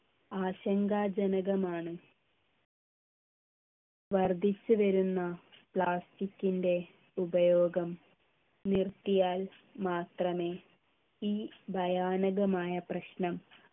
ആശങ്കാജനകമാണ് വർദ്ധിച്ചുവരുന്ന plastic ൻ്റെ ഉപയോഗം നിർത്തിയാൽ മാത്രമേ ഈ ഭയാനകമായ പ്രശ്നം